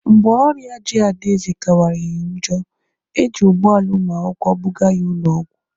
Mgbe ọrịa ji Adaeze kawanyere njọ, eji ụgbọ ala ụmụakwụkwọ buga ya ụlọ ọgwụ.